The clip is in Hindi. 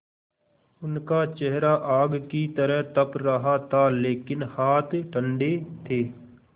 उनका चेहरा आग की तरह तप रहा था लेकिन हाथ ठंडे थे